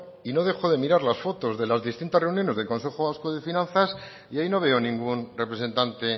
y no dejo de mirar las fotos de las distintas reuniones del consejo vasco de finanzas y ahí no veo ningún representante